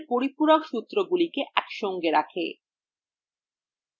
ডিএনএর পরিপূরক সূত্রগুলি একসঙ্গে রাখে